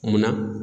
Munna